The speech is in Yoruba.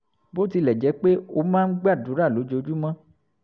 bó tilẹ̀ jẹ́ pé ó máa ń gbàdúrà lójoojúmọ́